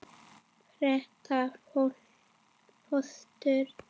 Gréta fóstur.